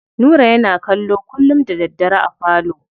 Nura yana kallo kullum da daddare a falo.